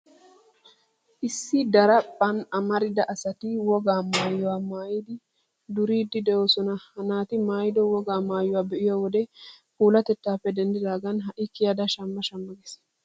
Issi daraphphan amarida asati wogaa maayuwaa maayadi duriiddi de'oosona. Ha naati maayido wogaa maayuwaa be'iyo wode puulatettaappe denddidaagan ha'i kiyida shamma shamma gees.